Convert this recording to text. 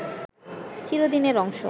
চিরদিনের অংশ